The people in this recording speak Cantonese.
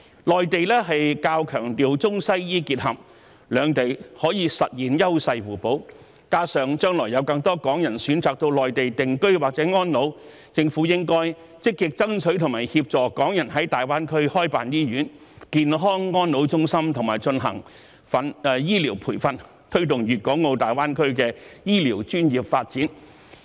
內地較強調中西醫結合，兩地可以實現優勢互補，加上將來有更多港人選擇到內地定居或安老，因此政府應該積極爭取和協助港人在大灣區開辦醫院、健康安老中心和進行醫療培訓，以推動粵港澳大灣區的醫療專業發展。